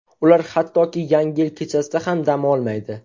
Ular hattoki yangi yil kechasida ham dam olmaydi.